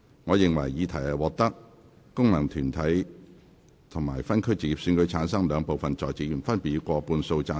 我認為議題獲得經由功能團體選舉產生及分區直接選舉產生的兩部分在席議員，分別以過半數贊成。